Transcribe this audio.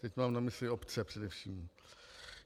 Teď mám na mysli obce především.